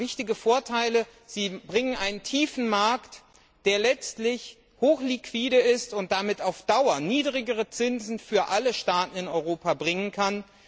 Sie haben wichtige Vorteile, sie bringen einen tiefen Markt, der letztlich hoch liquide ist und damit auf Dauer niedrigere Zinsen für alle Staaten in Europa bringen kann.